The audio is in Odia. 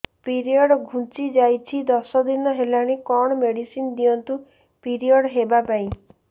ପିରିଅଡ଼ ଘୁଞ୍ଚି ଯାଇଛି ଦଶ ଦିନ ହେଲାଣି କଅଣ ମେଡିସିନ ଦିଅନ୍ତୁ ପିରିଅଡ଼ ହଵା ପାଈଁ